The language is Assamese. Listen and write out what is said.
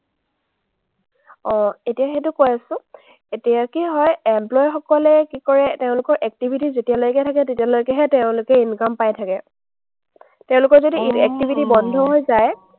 অ, এতিয়া সেইটো কৈ আছো, এতিয়া কি হয়, employee সকলে কি কৰে, তেওঁলোকৰ activity যেতিয়ালৈকে থাকে, তেতিয়ালৈকেহে তেওঁলোকে income পাই থাকে। তেওঁলোকৰ যদি activity বন্ধ হৈ যায়,